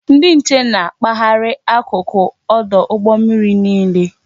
Ndị nche na-akpaharị akụkụ ọdụ ụgbọ mmiri niile